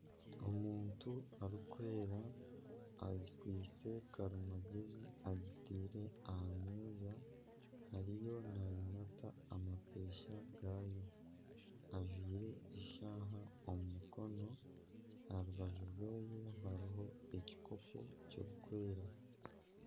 Omuntu arikwera akwaitse karimagyezi agitaire aha meeza ariyo nagimata amapeesa gaayo ajwaire eshaaha omu mukono aha rubaju rwe hariho ekikopo kirikwera.